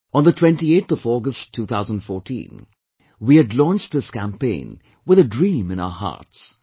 On the 28th of August 2014, we had launched this campaign with a dream in our hearts